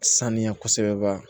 Sanuya kosɛbɛ ba